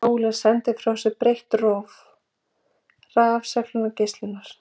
Sólin sendir frá sér breitt róf rafsegulgeislunar.